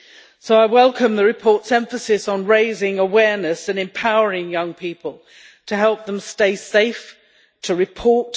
So I welcome the report's emphasis on raising awareness and empowering young people to help them stay safe and to report.